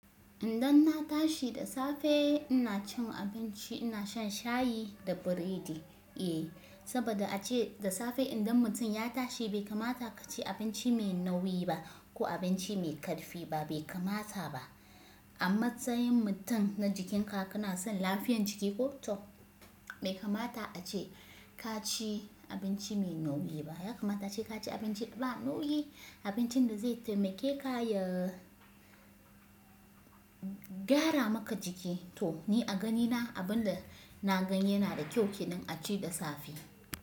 Indan na tashi da safe ina cin abinci ina shan shayi da biredi. Eh saboda ace da safe idan mutum ya tashi bai kamata ka ci abinci mai nauyi ba ko abinci mai karfi ba bai kamata ba. Amma tsayin mutum na jikin ka, kana son lafiyan jiki ko to bai kamata ace ka ci abinci mai nauyi ba, ya kamata ace ka ci abinci ba nauyi abincin da zai taimake ka ya gyara maka jiki to ni a ganina abin da na gani yana da kyau kiɗan a ci da safe.